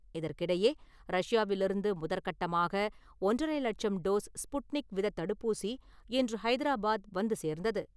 இதற்கிடையே, ரஷ்யாவிலிருந்து முதற்கட்டமாக ஒன்றரை லட்சம் டோஸ் ஸ்புட்னிக் வித தடுப்பூசி இன்று ஹைதராபாத் வந்து சேர்ந்தது.